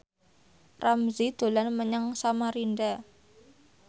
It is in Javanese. Ramzy dolan menyang Samarinda